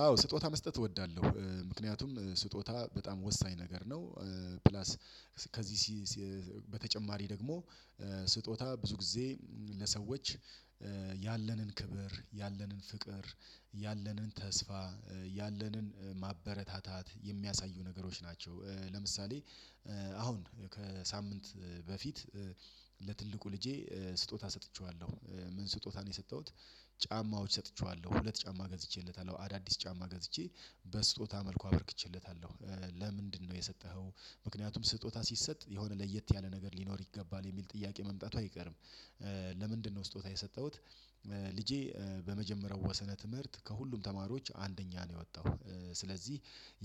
አዎ ስጦታ መስጠት እወዳለሁ ምክንያቱም ስጦታ በጣም ወሳኝ ነገር ነው። ፕላስ ከዚህ በተጨማሪ ደግሞ ስጦታ ብዙ ጊዜ ለሰዎች ያለንን ክብር ያለንን ፍቅር ያለንን ተስፋ ያለንን ማበረታታት የሚያሳዩ ነገሮች ናቸው። ለምሳሌ አሁን ከሳምንት በፊት ለትልቁ ልጄ ስጦታ ሰጥቼዋለሁ ምን ስጦታ ነው የሰጠሁት? ጫማዎች ሰጥቼዋለሁ ሁለት ጫማ ገዝቼለታለሁ አዳዲስ ጫማ ገዝቼ በስጦታ መልኩ አበርክቼለታለሁ። ለምንድነው የሰጠኸው? ምክንያቱም ስጦታ ሲሰጥ የሆነ ለየት ያለ ነገር ሊኖር ይገባል የሚል ጥያቄ መምጣቱ አይቀርም። ለምንድነው ስጦታ የሰጠሁት? ልጄ በመጀመሪያው ወሰነ ትምህርት ከሁሉም ተማሪዎች አንደኛ ነው የወጣው። ስለዚህ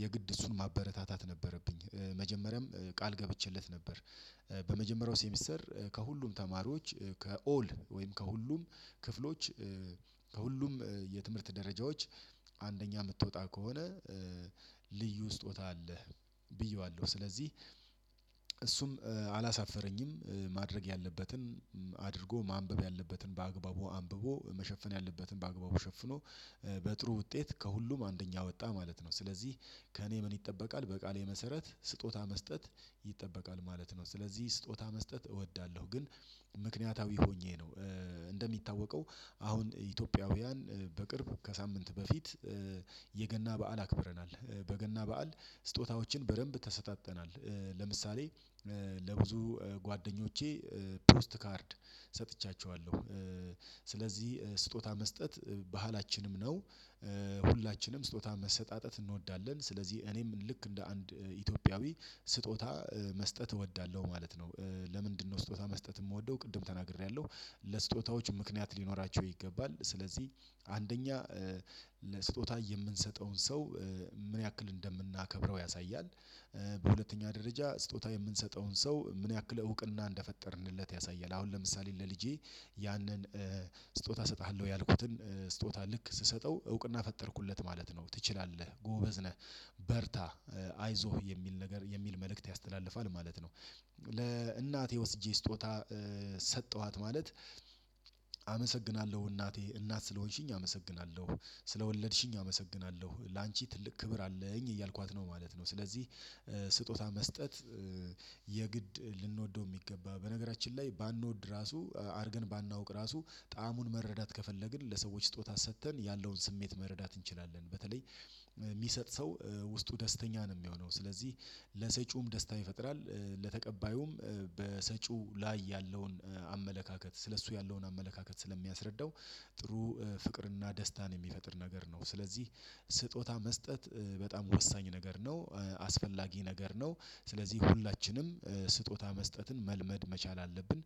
የግድ እሱን ማበረታታት ነበረብኝ። መጀመሪያም ቃል ገብቼለት ነበር። በመጀመሪያው ሴሚስተር ከሁሉም ተማሪዎች ከኦል ወይም ከሁሉም ክፍሎች ከሁሉም የትምህርት ደረጃዎች አንደኛ የምትወጣ ከሆነ ልዩ ስጦታ አለህ። ብዬዋለሁ ስለዚህ አላሳፈረኝም። ማድረግ ያለበትን አድርጎ ማንበብ ያለበትን በአግባቡ አንብቦ መሸፈን ያለበትን በአግባቡ ሸፍኖ በጥሩ ውጤት ከሁሉም አንደኛ ወጣ ማለት ነው። ስለዚህ ከእኔ ምን ይጠበቃል በቃሌ መሰረት ስጦታ መስጠት ይጠበቃል ማለት ነው። ስለዚህ ስጦታ መስጠት እወዳለሁ። ግን ምክንያታዊ ሆኜ ነው። እንደሚታወቀው አሁን ኢትዮጵያውያን በቅርቡ ከሳምንት በፊት የገና በዓል አክብረናል። በገና በዓል ስጦታዎችን በደንብ ተሰጣጥተናል። ለምሳሌ ለብዙ ጓደኞቼ ፕሮስት ካርድ ሰጥቻቸዋለሁ። ስለዚህ ስጦታ መስጠት ባህላችንም ነው። ሁላችንም ስጦታ መሰጣጣት እንወዳለን ስለዚህ እኔም ልክ እንደ አንድ ኢትዮጵያዊ ስጦታ መስጠት እወዳለሁ ማለት ነው። ለምንድነው ስጦታ መስጠት የምወደው ቅድም ተናግሬያለሁ። ለስጦታዎች ምክንያት ሊኖራቸው ይገባል ስለዚህ አንደኛ ለስጦታ የምንሰጠውን ሰው ምን ያክል እንደምናከብረው ያሳያል። በሁለተኛ ደረጃ ስጦታ የምንሰጠውን ሰው ምን ያክል እውቅና እንደፈጠርንለት ያሳያል። አሁን ለምሳሌ ለልጄ ያንን ስጦታ እሰጥሃለሁ ያልኩትን ስጦታ ልክ ስሰጠው እውቅና ፈጠርኩለት ማለት ነው። ትችላለህ ጎበዝ ነህ። በርታ አይዞህ የሚል ነገር የሚል መልእክት ያስተላልፋል ማለት ነው። ለእናቴ ወስጄ ስጦታ ሰጠኋት ማለት አመሰግናለሁ እናቴ እናት ስለሆንሽኝ አመሰግናለሁ ስለወለድሽኝ አመሰግናለሁ ላንቺ ትልቅ ክብር አለኝ እያልኳት ነው ማለት ነው። ስለዚህ ስጦታ መስጠት የግድ ልንወደው የሚገባ በነገራችን ላይ ባንወድ ራሱ አድርገን ባናውቅ ራሱ ጣዕሙን መረዳት ከፈለግን ለሰዎች ስጦታ ሰጥተን ያለውን ስሜት መረዳት እንችላለን። በተለይ የሚሰጥ ሰው ውስጡ ደስተኛ ነው የሚሆነው ስለዚህ ለሰጪውም ደስታ ይፈጥራል። ለተቀባዩም በሰጪው ላይ ያለውን አመለካከት ስለእሱ ያለውን አመለካከት ስለሚያስረዳው። ጥሩ ፍቅርና ደስታን የሚፈጥር ነገር ነው። ስለዚህ ስጦታ መስጠት በጣም ወሳኝ ነገር ነው። አስፈላጊ ነገር ነው። ስለዚህ ሁላችንም ስጦታ መስጠትን መልመድ መቻል አለብን።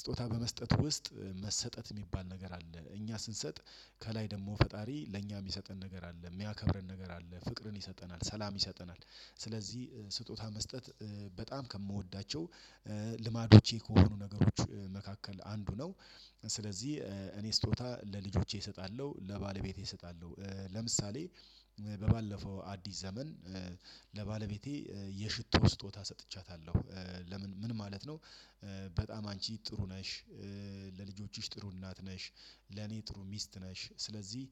ስጦታ በመስጠት ውስጥ መሰጠት የሚባል ነገር አለ። እኛ ስንሰጥ ከላይ ደግሞ ፈጣሪ ለእኛ የሚሰጠን ነገር አለ የሚያከብረን ነገር አለ ፍቅርን ይሰጠናል ሰላም ይሰጠናል። ስለዚህ ስጦታ መስጠት በጣም ከምወዳቸው ልማዶቼ ከሆኑ ነገሮች መካከል አንዱ ነው። ስለዚህ እኔ ስጦታ ለልጆቼ እሰጣለሁ ለባለቤቴ እሰጣለሁ ለምሳሌ በባለፈው አዲስ ዘመን ለባለቤቴ የሽቶ ስጦታ ሰጥቻታለሁ። ለምን ምን ማለት ነው? በጣም አንቺ ጥሩ ነሽ። ለልጆችሽ ጥሩ እናት ነሽ ለኔ ጥሩ ሚስት ነሽ ስለዚህ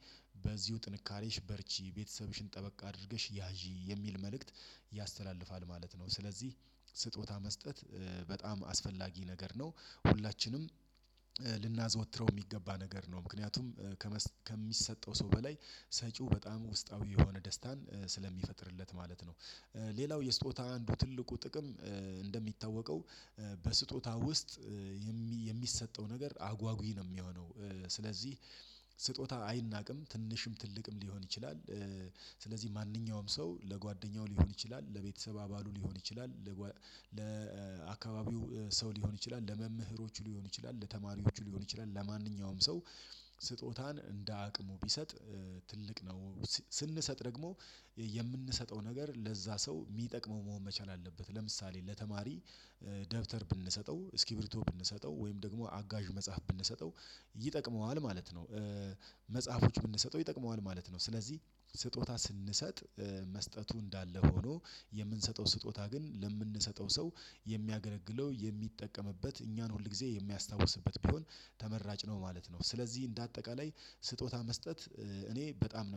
በዚሁ ጥንካሬሽ በርቺ ቤተሰብሽን ጠበቅ አድርገሽ ያዢ የሚል መልእክት ያስተላልፋል ማለት ነው። ስለዚህ ስጦታ መስጠት በጣም አስፈላጊ ነገር ነው። ሁላችንም ልናዘወትረው የሚገባ ነገር ነው። ምክንያቱም ከሚሰጠው ሰው በላይ ሰጪው በጣም ውስጣዊ የሆነ ደስታን ስለሚፈጥርለት ማለት ነው። ሌላው የስጦታ አንዱ ትልቁ ጥቅም እንደሚታወቀው በስጦታ ውስጥ የሚሰጠው ነገር አጓጉይ ነው የሚሆነው። ስለዚህ ስጦታ አይናቅም ትንሽም ትልቅም ሊሆን ይችላል። ስለዚህ ማንኛውም ሰው ለጓደኛው ሊሆን ይችላል ለቤተሰብ አባሉ ሊሆን ይችላል። ለአካባቢው ሰው ሊሆን ይችላል ለመምህሮቹ ሊሆን ይችላል ለተማሪዎቹ ሊሆን ይችላል ለማንኛውም ሰው ስጦታን እንደ አቅሙ ቢሰጥ ትልቅ ነው። ስንሰጥ ደግሞ የምንሰጠው ነገር ለዛ ሰው የሚጠቅመው መሆን መቻል አለበት። ለምሳሌ ለተማሪ ደብተር ብንሰጠው እስኪብሪቶ ብንሰጠው ወይም ደግሞ አጋዥ መጽሐፍ ብንሰጠው ይጠቅመዋል ማለት ነው። መጽሐፎች ብንሰጠው ይጠቅመዋል ማለት ነው። ስለዚህ ስጦታ ስንሰጥ መስጠቱ እንዳለ ሆኖ የምንሰጠው ስጦታ ግን ለምንሰጠው ሰው የሚያገረግለው የሚጠቀምበት እኛን ሁል ጊዜ የሚያስታውስበት ቢሆን ተመራጭ ነው። ማለት ነው። ስለዚህ እንደ አጠቃላይ ስጦታ መስጠት እኔ በጣም ነው